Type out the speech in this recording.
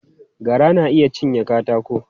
Gara na iya cinye katako.